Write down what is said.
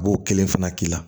A b'o kelen fana k'i la